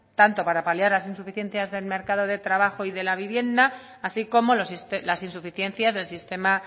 tanto para paliar las insuficiencias del mercado de trabajo y de la vivienda así como las insuficiencias del sistema